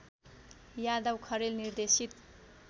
यादव खरेल निर्देशित